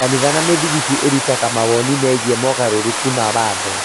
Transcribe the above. Makanitha na mĩthigiti ĩrutaga mawoni megiĩ mogarũrũku ma watho.